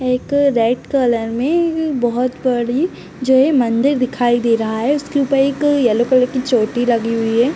एक red colour में ईं बोहोत बड़ी जो है मंदिर दिखाई दे रहा है उसके ऊपर एक येलो कलर की चोटी लगी हुई है।